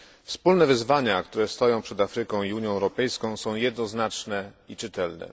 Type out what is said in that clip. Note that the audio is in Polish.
Wspólne wyzwania, które stoją przed Afryką i Unią Europejską, są jednoznaczne i czytelne.